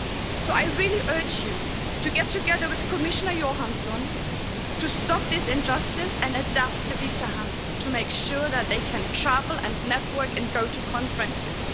So I really urge you to get together with Commissioner Johansson to stop this injustice and adapt the Visa Handbook, to make sure that they can travel and network and go to conferences.